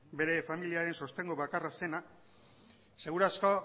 bere familiaren sostengu bakarra zena seguru asko